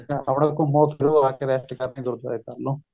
ਆਪਣਾ ਘੁੱਮੋ ਫ਼ਿਰੋ ਆਕੇ rest ਕਰਨੀ